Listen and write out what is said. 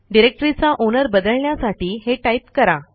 डिरेक्टरीचा ओनर बदलण्यासाठी हे टाईप करा